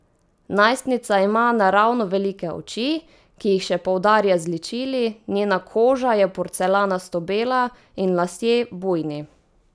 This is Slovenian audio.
Najstnica ima naravno velike oči, ki jih še poudarja z ličili, njena koža je porcelanasto bela in lasje bujni.